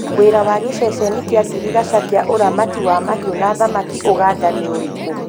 Wĩra wa giceceni kia girigasha kia ũramati wa mahiũ na thamaki ũganda nĩ ũrikũ?